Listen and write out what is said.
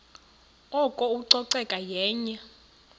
oko ucoceko yenye